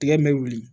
Tigɛ in mɛ wuli